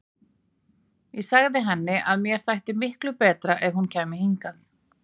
Ég sagði henni að mér þætti miklu betra að hún kæmi hingað.